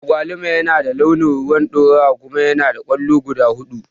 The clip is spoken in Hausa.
Agwaluma yana da launin rowan ɗorawa kuma yanada kwallo guda huɗu.